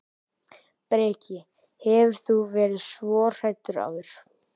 Breki: Hefur þú verið svona hræddur áður?